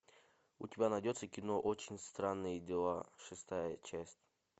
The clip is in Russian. у тебя найдется кино очень странные дела шестая часть